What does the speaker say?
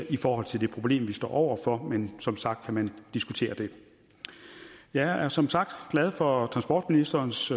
i forhold til det problem vi står over for men som sagt kan man diskutere det jeg er som sagt glad for transportministerens